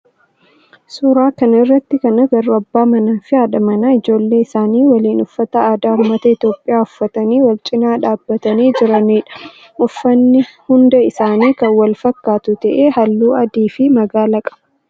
suuraa kana irratti kan agarru abbaa manaa fi haadha manaa ijoollee isaanii waliin uffata aadaa ummata Itiyoophiyaa uffatanii wal cinaa dhaabbatanii jiranidha. Uffanni hunda isaanii kan wal fakkaatu ta'ee halluu adii fi magaala qaba.